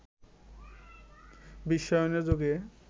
বিশ্বায়নের যুগে